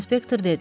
inspektor dedi.